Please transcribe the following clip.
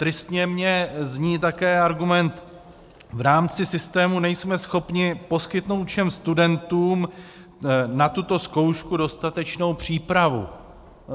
Tristně mi zní také argument: v rámci systému nejsme schopni poskytnout všem studentům na tuto zkoušku dostatečnou přípravu.